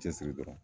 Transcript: Cɛsiri dɔrɔn